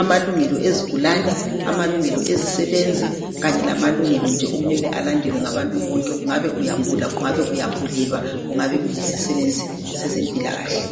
amalungelo awezigulani amalungo awezisebenzi kanye lamalugelo okumele alandelwe ngabangu bonke kungabe uyagula kubangabe uyagulelwa kungabe uyisisebenzi yezempilakahle